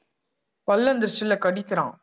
பல்லு வந்திரிச்சில்ல கடிக்கிறான்